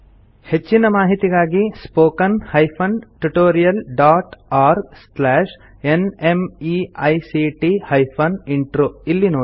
ಹೆಚ್ಚಿನ ಮಾಹಿತಿಗಾಗಿ spoken hyphen tutorial dot org slash NMEICT hyphen intro ಇಲ್ಲಿ ನೋಡಿ